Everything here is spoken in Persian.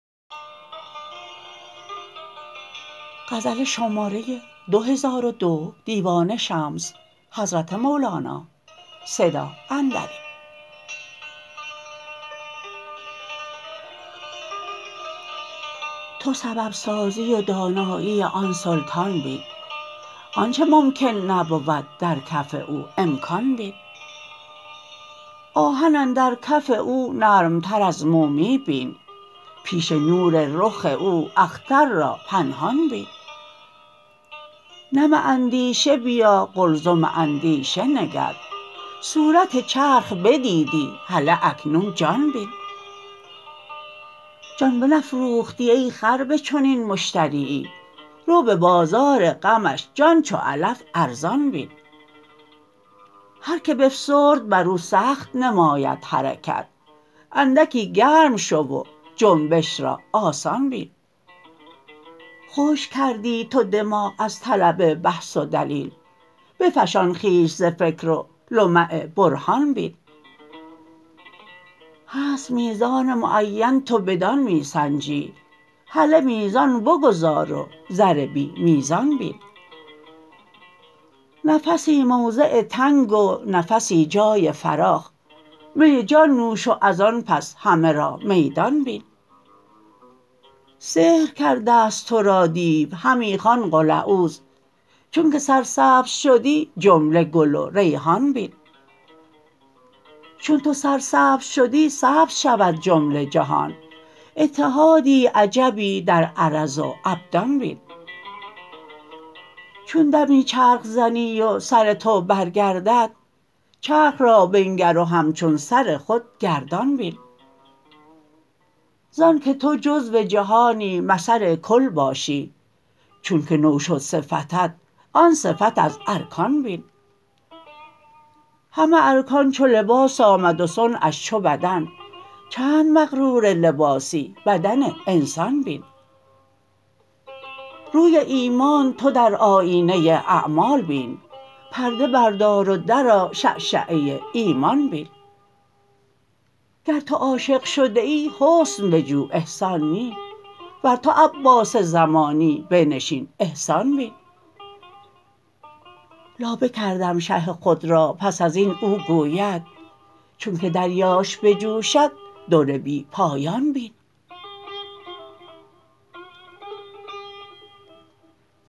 تو سبب سازی و دانایی آن سلطان بین آنچ ممکن نبود در کف او امکان بین آهن اندر کف او نرمتر از مومی بین پیش نور رخ او اختر را پنهان بین نم اندیشه بیا قلزم اندیشه نگر صورت چرخ بدیدی هله اکنون جان بین جان بنفروختی ای خر به چنین مشتریی رو به بازار غمش جان چو علف ارزان بین هر کی بفسرد بر او سخت نماید حرکت اندکی گرم شو و جنبش را آسان بین خشک کردی تو دماغ از طلب بحث و دلیل بفشان خویش ز فکر و لمع برهان بین هست میزان معینت و بدان می سنجی هله میزان بگذار و زر بی میزان بین نفسی موضع تنگ و نفسی جای فراخ می جان نوش و از آن پس همه را میدان بین سحر کرده ست تو را دیو همی خوان قل اعوذ چونک سرسبز شدی جمله گل و ریحان بین چون تو سرسبز شدی سبز شود جمله جهان اتحادی عجبی در عرض و ابدان بین چون دمی چرخ زنی و سر تو برگردد چرخ را بنگر و همچون سر خود گردان بین ز آنک تو جزو جهانی مثل کل باشی چونک نو شد صفتت آن صفت از ارکان بین همه ارکان چو لباس آمد و صنعش چو بدن چند مغرور لباسی بدن انسان بین روی ایمان تو در آیینه اعمال ببین پرده بردار و درآ شعشعه ایمان بین گر تو عاشق شده ای حسن بجو احسان نی ور تو عباس زمانی بنشین احسان بین لابه کردم شه خود را پس از این او گوید چونک دریاش بجوشد در بی پایان بین